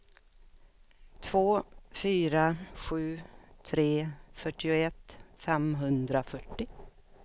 två fyra sju tre fyrtioett femhundrafyrtio